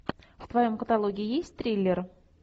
в твоем каталоге есть триллер